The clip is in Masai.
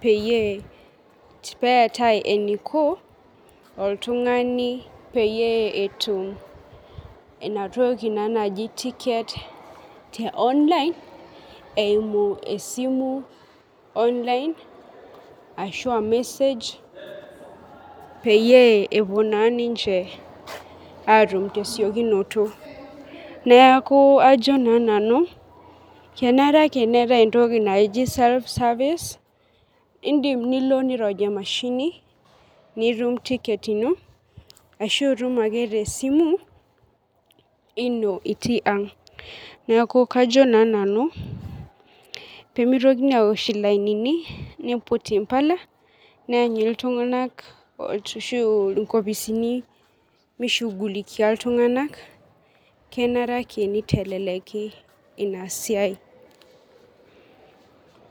peyie peetae eniko oltungani peeyie etum inatoki naji tiket eimu esimu online ashu emesej peyie epuo na ninche atum tesiokinoto neaku ajo na sinanukenare ake neetae entoki naji self servive indim nilo nirony emashininitum tiket ino ashu itum ake tesimu ino tii ang neaku kajo na nanu pemitokini aiput nkardasini neoshi olaini ltunganak kenare ake niteleki inasiai.